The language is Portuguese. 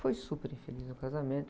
Foi super infeliz no casamento.